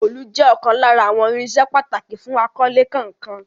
Òòlù jẹ́ ọ̀kan lára àwọn irinṣẹ́ pàtàkì fún akọ́lé kankan.